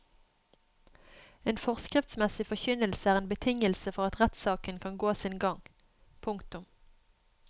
En forskriftsmessig forkynnelse er en betingelse for at rettssaken kan gå sin gang. punktum